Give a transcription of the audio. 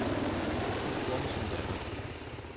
Jeg bor hos min datter.